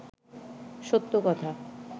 সত্য কথা